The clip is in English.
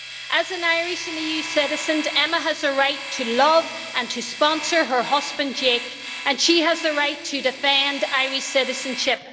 As an Irish and EU citizen, Emma has the right to love and to sponsor her husband, Jake, and she has the right to defend Irish citizenship.